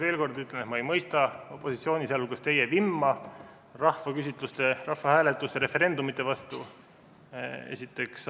Veel kord ütlen, et ma ei mõista opositsiooni, sealhulgas teie vimma rahvaküsitluste, rahvahääletuste, referendumite vastu, esiteks.